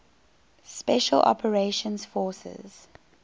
special operations forces